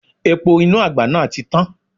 Epo inú àgbá náà ti tán.